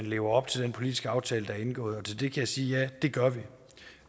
lever op til den politiske aftale der er indgået til det kan jeg sige ja det gør vi